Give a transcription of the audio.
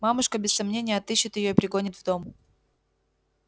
мамушка без сомнения отыщет её и прогонит в дом